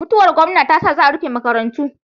Mutuwar gomna tasa za a rufe maka rantu